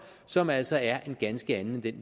som altså er er en ganske anden end den